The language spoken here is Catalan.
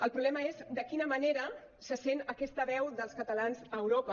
el problema és de quina manera se sent aquesta veu dels catalans a europa